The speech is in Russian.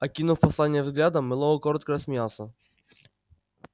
окинув послание взглядом мэллоу коротко рассмеялся